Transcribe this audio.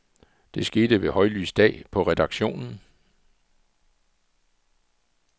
Det skete ved højlys dag på redaktionen.